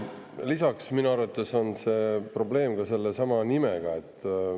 Lisaks on minu arvates probleem nimega.